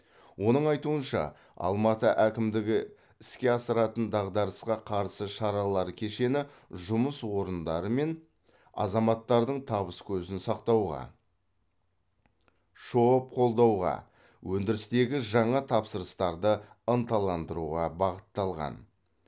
оның айтуынша алматы әкімдігі іске асыратын дағдарысқа қарсы шаралар кешені жұмыс орындары мен азаматтардың табыс көзін сақтауға шоб қолдауға өндірістегі жаңа тапсырыстарды ынталандыруға бағытталған